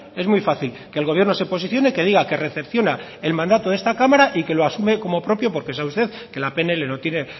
es muy fácil que el gobierno se posicione que diga que recepciona el mandato de esta cámara y que lo asume como propio porque sabe usted que la pnl no tiene